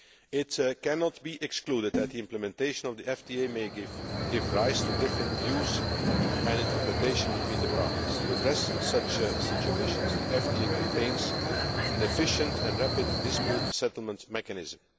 It cannot be ruled out that implementation of the FTA may give rise to different views and interpretation between the parties. To address such situations, the FTA contains an efficient and rapid dispute settlement mechanism.